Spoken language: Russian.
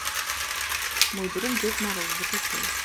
мой друг дед мороз закачай